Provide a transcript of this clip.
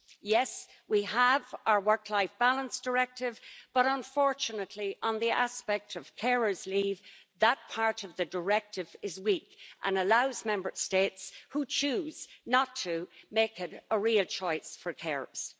Yes, we have our Directive on Work Life Balance, but unfortunately on the aspect of carers' leave, that part of the Directive is weak and allows Member States to choose not to make a real choice for carers.